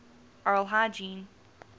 oral hygiene